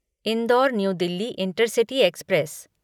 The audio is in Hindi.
indoor new Delhi intercity express